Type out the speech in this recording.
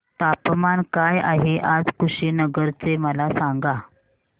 तापमान काय आहे आज कुशीनगर चे मला सांगा